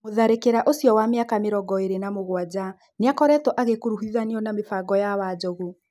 Mũtharĩkĩra ũcio wa mĩaka mĩrongo ĩrĩ na mũgwanja nĩakoretwo agĩkuruhithanio na mĩbango ya Wanjogu.